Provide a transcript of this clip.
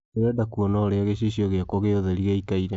ndĩrenda kũona ũrĩa gichichio giakwa gia ũtherĩ gĩĩkarie